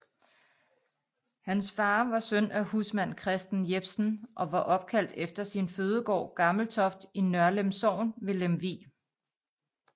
Hans far var søn af husmand Christen Jepsen og var opkaldt efter sin fødegård Gammeltoft i Nørlem Sogn ved Lemvig